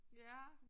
Ja